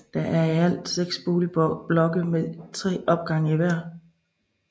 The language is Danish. Der er i alt seks boligblokke med tre opgange hver